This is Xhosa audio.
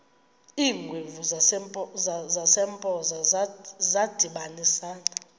iingwevu zasempoza zadibanisana